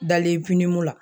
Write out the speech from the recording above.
Dalen finiko la